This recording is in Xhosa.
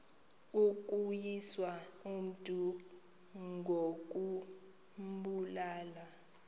ukuwisa umntu ngokumbulala